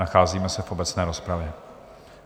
Nacházíme se v obecné rozpravě.